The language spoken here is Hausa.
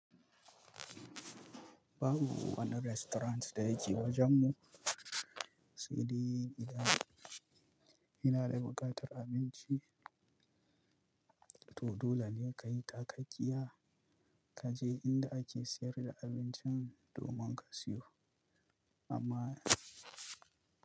Babu wani restaurant da yake wajenmu, sai dai gida. Ina da buƙatar abinci, to dole ne ka yi takakkiya ka je inda ake sayar da abincin domin ka siyo. Amma.